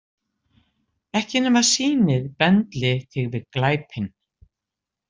Ekki nema sýnið bendli þig við glæpinn.